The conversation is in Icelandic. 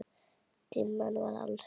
Dimman var alls staðar.